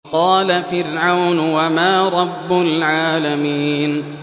قَالَ فِرْعَوْنُ وَمَا رَبُّ الْعَالَمِينَ